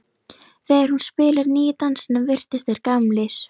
Þegar hún spilaði nýju dansana virtust þeir gamlir.